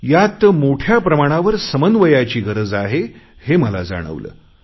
यात मोठ्या प्रमाणावर समन्वयाची गरज आहे हे मला जाणवले